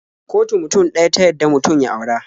Kotu mutum ɗaya ta yadda mutum ya aura.